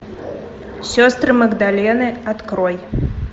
сестры магдалины открой